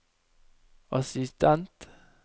assistent